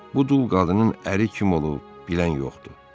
Bu dul qadının əri kim olub, bilən yoxdur.